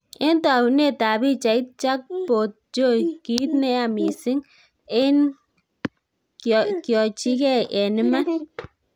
En taunetab pichait, Jackpotjoy "kiit neya mising ne kyoyochigei en iman."